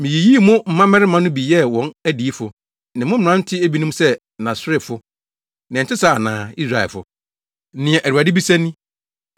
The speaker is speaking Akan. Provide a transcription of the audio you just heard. Miyiyii mo mmabarima no bi yɛɛ wɔn adiyifo, ne mo mmerante ebinom sɛ Naserefo. Na ɛnte saa ana, Israelfo?” Nea Awurade bisa ni.